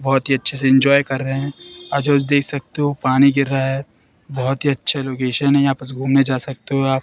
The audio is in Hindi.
बहुत ही अच्छे से एंज्वाय कर रहे हैं और जो देख सकते हो पानी गिर रहा है बहुत ही अच्छा लोकेशन है यहां पर से घूमने जा सकते हो आप।